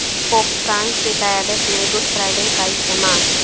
pope Francis کی قیادت میں گڈ فرائیڈے کا اجتماع